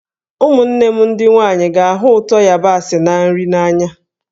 Ụmụnne m ndị nwanyị ga-ahụ ụtọ yabasị na nri n'anya.